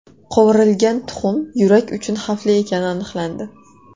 Qovurilgan tuxum yurak uchun xavfli ekani aniqlandi.